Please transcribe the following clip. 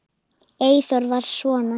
Eyþór var svona.